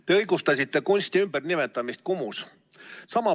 Te õigustasite kunsti ümbernimetamist Kumus.